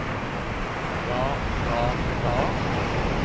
ga ga ga